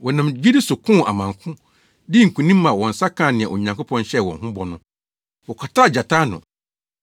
Wɔnam gyidi so koo amanko, dii nkonim ma wɔn nsa kaa nea Onyankopɔn hyɛɛ wɔn ho bɔ no. Wɔkataa gyata ano,